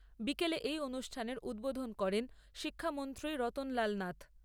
বিকেলে এই অনুষ্ঠানের উদ্বোধন করেন শিক্ষামন্ত্রী রতনলাল নাথ।